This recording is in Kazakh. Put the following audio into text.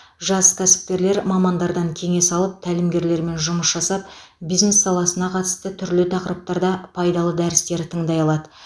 жас кәсіпкерлер мамандардан кеңес алып тәлімгерлермен жұмыс жасап бизнес саласына қатысты түрлі тақырыптарда пайдалы дәрістер тыңдай алады